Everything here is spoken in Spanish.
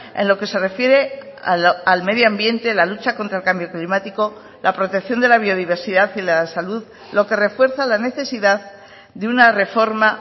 en lo que se refiere al medio ambiente la lucha contra el cambio climático la protección de la biodiversidad y la salud lo que refuerza la necesidad de una reforma